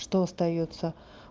что остаётся